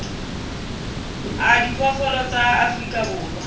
a diphoofolo tsa afrika borwa